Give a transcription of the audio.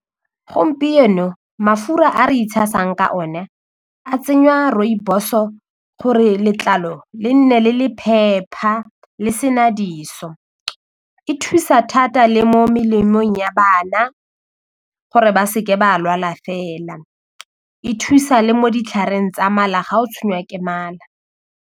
Gompieno mafura a re itshasang ka one a tsenywa rooibos-o gore letlalo le nne le le phepa le se na diso e thusa thata le mo melemong ya bana gore ba se ke ba lwala fela e thusa le mo ditlhareng tsa mala ga o tshwanelwa ke mala.